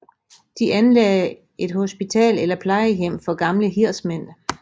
De anlagde et hospital eller plejehjem for gamle hirdsmænd